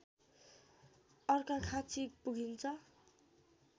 अर्घाखाँचि पुगिन्छ